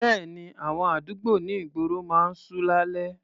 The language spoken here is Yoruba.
Bẹ́ẹ̀ni, àwọn àdúgbò ní ìgboro máa ń ṣú lálẹ́.